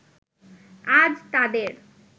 আজ তাদের